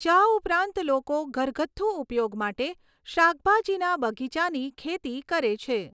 ચા ઉપરાંત લોકો ઘરગથ્થુ ઉપયોગ માટે શાકભાજીના બગીચાની ખેતી કરે છે.